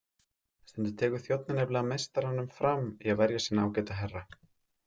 Stundum tekur þjónninn nefnilega meistaranum fram í að verja sinn ágæta herra.